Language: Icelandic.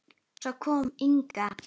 Svo kom Inga.